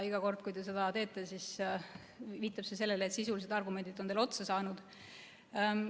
Iga kord, kui te seda teete, siis viitab see sellele, et sisulised argumendid on teil otsa saanud.